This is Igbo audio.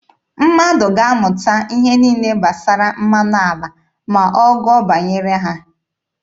Mmadụ ga-amụta ihe niile gbasara mmanụ ala ma ọ gụọ banyere ha.